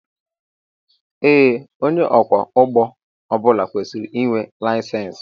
Ee onye ọkwọ ụgbọ ọbula kwesịrị ịnwe layisensi